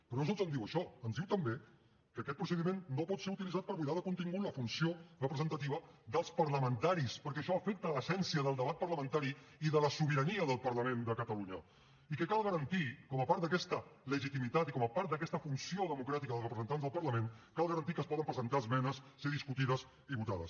però no sols ens diu això ens diu també que aquest procediment no pot ser utilitzat per buidar de contingut la funció representativa dels parlamentaris perquè això afecta l’essència del debat parlamentari i de la sobirania del parlament de catalunya i que cal garantir com a part d’aquesta legitimitat i com a part d’aquesta funció democràtica dels representants del parlament que es poden presentar esmenes ser discutides i votades